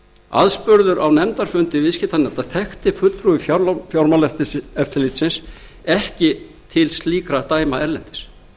aðspurður á nefndarfundi viðskiptanefndar þekkti fulltrúi fjármálaeftirlitsins ekki til slíkra dæma erlendis